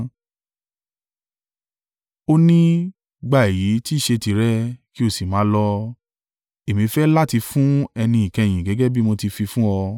Ó ní, gba èyí tí í ṣé tìrẹ, ki ó sì máa lọ. Èmi fẹ́ láti fún ẹni ìkẹyìn gẹ́gẹ́ bí mo ti fi fún ọ.